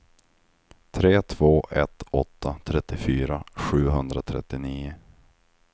tre två ett åtta trettiofyra sjuhundratrettionio